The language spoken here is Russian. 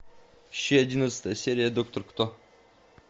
ищи одиннадцатая серия доктор кто